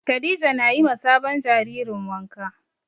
Khadija na yi ma sabon jaririn wanka